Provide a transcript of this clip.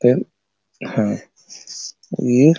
ई --